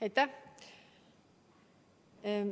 Aitäh!